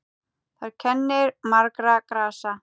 Þar kennir margra grasa.